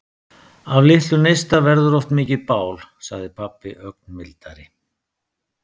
Af litlum neista verður oft mikið bál, sagði pabbi ögn mildari.